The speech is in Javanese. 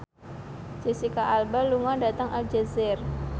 Jesicca Alba lunga dhateng Aljazair